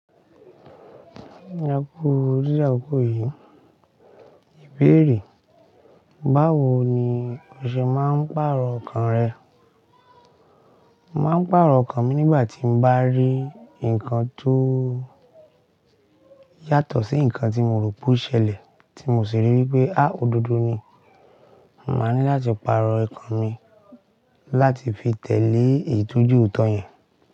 Ìyá kú orí àgò yìí, ìbéèrè, báwo ni o ṣe máa ń pàrọ̀ ọkàn rẹ? Màá ń pàrọ̀ ọkàn mi nígbà tí mo bá rí nǹkan tó yàtọ̀ sí nǹkan tí mo rò pé ó ṣẹlẹ̀, tí mo sì rí i wí pé, há! Ododo ni. Mo máa ní láti pàrọ̀ okan mi láti fi tẹ̀lé eyi tọ̀ je ooto yẹn.